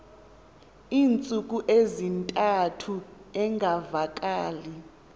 iintsuku ezintathu engavakali